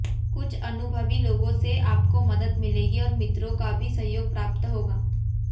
कुछ अनुभवी लोगों से आपको मदद मिलेगी और मित्रों का भी सहयोग प्राप्त होगा